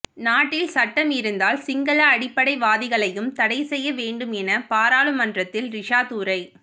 நாட்டில் சட்டம் இருந்தால் சிங்கள அடிப்படைவாதிகளையும் தடை செய்ய வேண்டும் என பாராளுமன்றத்தில் ரிஷாத் உரை